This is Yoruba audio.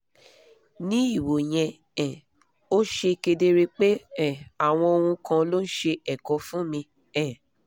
ní ìwò yẹn um ó ṣe kedere pé um àwọn ohun kan ló ń ṣe ẹ̀kọ fún mi um